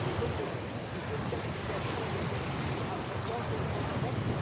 Les zones de crise, de déstabilisation et de conflit se rapprochent dangereusement de l'Europe.